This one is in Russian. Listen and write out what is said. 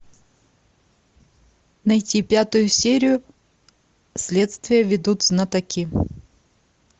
найти пятую серию следствие ведут знатоки